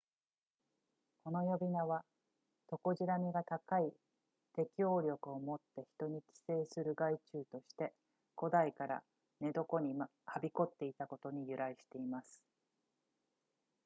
この呼び名はトコジラミが高い適応力を持って人に寄生する害虫として古代から寝床に蔓延っていたことに由来しています